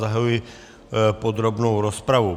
Zahajuji podrobnou rozpravu.